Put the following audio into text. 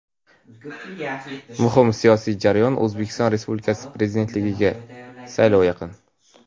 muhim siyosiy jarayon — O‘zbekiston Respublikasi Prezidentligiga saylov yaqin.